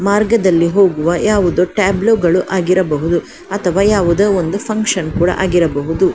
ಮಾರ್ಗದಲ್ಲಿ ಹೋಗುವ ಯಾವುದೊ ಟ್ಯಾಬ್ಲೋ ಗಳು ಆಗಿರಬಹುದು ಅಥವಾ ಯಾವುದೊ ಒಂದು ಫ್ಯಾಂಕ್ಷನ್ ಕೂಡ ಆಗಿರಬಹುದು.